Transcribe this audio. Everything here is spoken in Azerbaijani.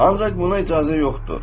Ancaq buna icazə yoxdur.